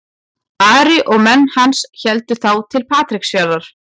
Ari og menn hans héldu þá til Patreksfjarðar.